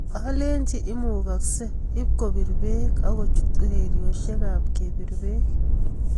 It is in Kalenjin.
Alechi imukakse ipkopir bek akochut urerioshek ap kepir bek.